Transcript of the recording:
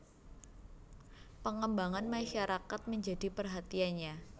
Pengembangan masyarakat menjadi perhatiannya